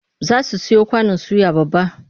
Za su siyo kwanon suya babba.